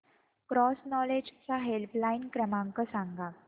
cross knowledge चा helpline क्रमांक सांगा